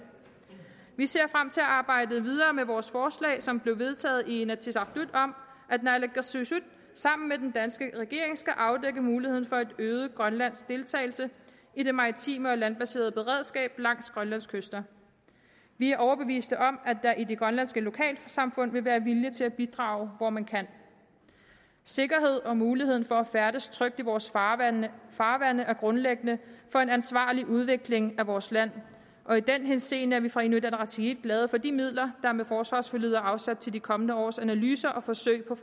vi ser frem til at arbejde videre med vores forslag som blev vedtaget i inatsisartut om at naalakkersuisut sammen med den danske regering skal afdække muligheden for en øget grønlandsk deltagelse i det maritime og landbaserede beredskab langs grønlands kyster vi er overbevist om at der i de grønlandske lokalsamfund vil være vilje til at bidrage hvor man kan sikkerheden og muligheden for at færdes trygt i vores farvande farvande er grundlæggende for en ansvarlig udvikling af vores land og i den henseende er vi fra inuit ataqatigiits side glade for de midler der med forsvarsforliget er afsat til de kommende års analyser og forsøg på